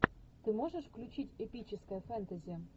ты можешь включить эпическое фэнтези